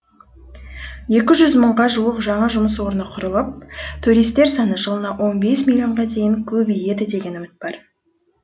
екі жүз мыңға жуық жаңа жұмыс орны құрылып туристер саны жылына он бес миллионға дейін көбейеді деген үміт бар